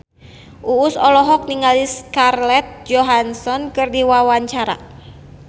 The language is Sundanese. Uus olohok ningali Scarlett Johansson keur diwawancara